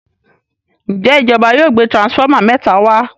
Njé ìjọba yóò gbé transformer méta wá?